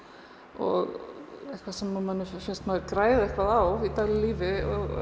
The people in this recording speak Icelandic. og eitthvað sem manni finnst maður græða á í daglegu lífi og